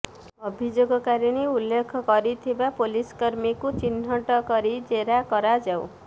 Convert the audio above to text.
ଅଭିଯୋଗକାରିଣୀ ଉଲ୍ଲେଖ କରିଥିବା ପୋଲିସକର୍ମୀଙ୍କୁ ଚିହ୍ନଟ କରି ଜେରା କରାଯାଉ